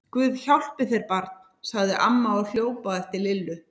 Guð hjálpi þér barn! sagði amma og hljóp á eftir Lillu.